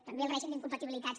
també el règim d’incompatibilitats